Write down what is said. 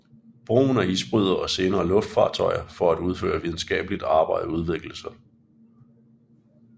Brugen af isbrydere og senere luftfartøjer for at udføre videnskabeligt arbejde udviklede sig